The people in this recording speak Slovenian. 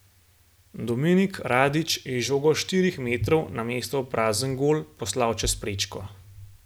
Dominik Radić je žogo s štirih metrov namesto v prazen gol poslal čez prečko.